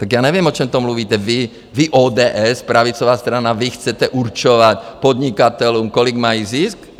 Tak já nevím, o čem to mluvíte, vy, ODS, pravicová strana, vy chcete určovat podnikatelům, kolik mají zisk?